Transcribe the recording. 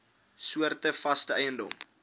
soorte vaste eiendom